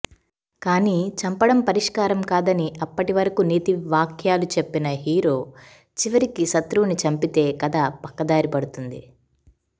కానీ చంపడం పరిష్కారం కాదని అప్పటివరకు నీతి వాక్యాలు చెప్పిన హీరో చివరికి శత్రువుని చంపితే కథ పక్కదారి పడుతుంది